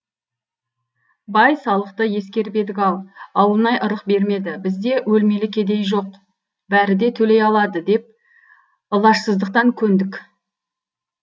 бай салықты ескеріп едік ау ауылнай ырық бермеді бізде өлмелі кедей жоқ бәрі де төлей алады деп ылажсыздықтан көндік